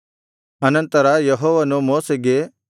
ಅನಂತರ ಯೆಹೋವನು ಮೋಶೆಗೆ